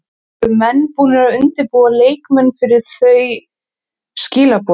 Eru menn búnir að undirbúa leikmenn fyrir þau skilaboð?